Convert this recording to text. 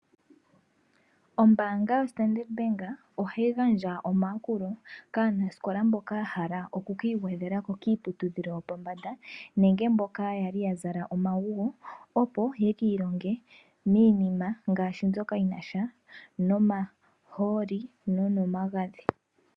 Ombaanga yoStandard Bank ohayi gandja omayakulo kaanasikola mboka yahala okukiigwedhelako Kiiputudhilo yopombanda nenge mboka yali yazala omaguwo opo yekiilonge miinima ngaashi mbyoka yinasha nomahooli nomagadhi.